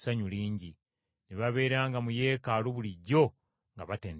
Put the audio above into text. Ne babeeranga mu Yeekaalu bulijjo nga batendereza Katonda.